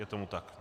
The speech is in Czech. Je tomu tak.